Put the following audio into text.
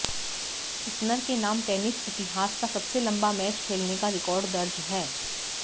Isner के नाम tennis इतिहास का सबसे लंबा मैच खेलने का रिकॉर्ड दर्ज है